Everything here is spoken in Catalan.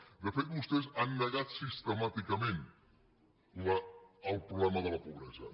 de fet vostès han negat sistemàticament el problema de la pobresa